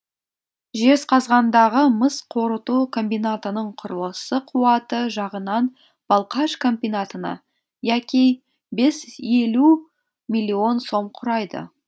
жезқазғандағы мыс қорыту комбинатының кұрылысы қуаты жағынан балқаш комбинатына яки елу миллион сом құрайды